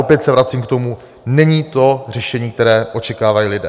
Opět se vracím k tomu: není to řešení, které očekávají lidé.